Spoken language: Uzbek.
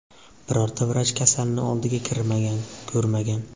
birorta vrach kasalni oldiga kirmagan, ko‘rmagan.